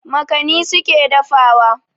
Makani su ke dafawa.